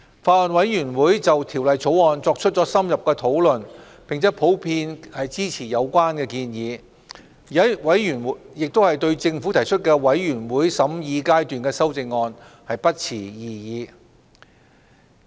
法案委員會就《條例草案》作出了深入的討論，並普遍支持有關建議。委員亦對政府提出的全體委員會審議階段修正案不持異議。